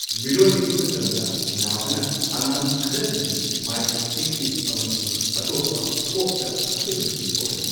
ꯃꯤꯔꯣꯜꯂꯤꯉꯩ ꯃꯇꯝꯗ ꯅꯥꯕꯅ ꯑꯉꯥꯡ ꯈꯔꯗꯗꯤ ꯃꯥꯏꯀ꯭ꯔꯣꯁꯦꯐꯂꯤ ꯑꯃꯁꯨꯡ ꯑꯇꯣꯞꯄ ꯊꯣꯞꯇ ꯑꯁꯣꯏꯕꯁꯤꯡ ꯊꯣꯛꯍꯜꯂꯤ꯫